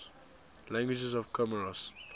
languages of comoros